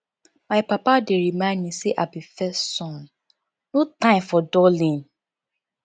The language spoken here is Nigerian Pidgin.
my papa dey remind me say i be first son no time for dulling